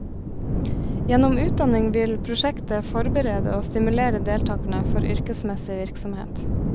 Gjennom utdanning vil prosjektet forberede og stimulere deltakerne for yrkesmessig virksomhet.